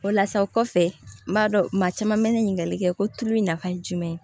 O la sa kɔfɛ n b'a dɔn maa caman mɛ ne ɲininkali kɛ ko tulu in nafa ye jumɛn ye